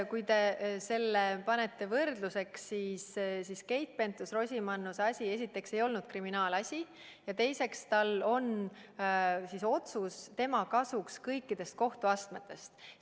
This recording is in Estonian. Kui te panete selle võrdluseks, siis ma ütlen, et Keit Pentus-Rosimannuse asi esiteks ei olnud kriminaalasi ja teiseks on tehtud otsus tema kasuks kõikides kohtuastmetes.